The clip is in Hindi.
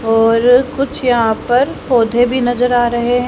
और कुछ यहां पर पौधे भी नजर आ रहे हैं।